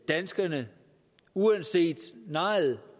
danskerne uanset nejet